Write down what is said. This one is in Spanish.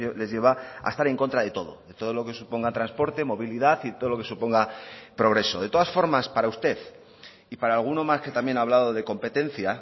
les lleva a estar en contra de todo de todo lo que suponga transporte movilidad y todo lo que suponga progreso de todas formas para usted y para alguno más que también ha hablado de competencia